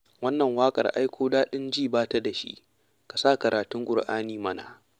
Wannan waƙar ai ko daɗin ji ba ta da shi, ka sa karatun ƙur'ani mana.